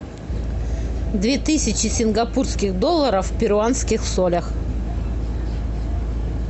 две тысячи сингапурских долларов в перуанских солях